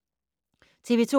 TV 2